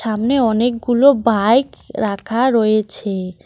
সামনে অনেকগুলো বাইক রাখা রয়েছে।